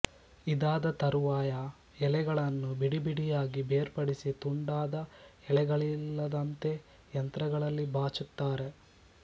ಇದಾದ ತರುವಾಯ ಎಲೆಗಳನ್ನು ಬಿಡಿಬಿಡಿಯಾಗಿ ಬೇರ್ಪಡಿಸಿ ತುಂಡಾದ ಎಳೆಗಳಿಲ್ಲದಂತೆ ಯಂತ್ರಗಳಲ್ಲಿ ಬಾಚುತ್ತಾರೆ